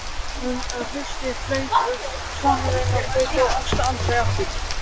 Um haustið flaug svanurinn á braut og sást aldrei aftur.